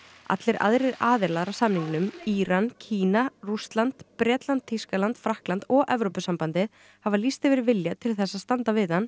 allir aðrir aðilar að samningnum Íran Kína Rússland Bretland Þýskaland Frakkland og Evrópusambandið hafa lýst yfir vilja til þess að standa við hann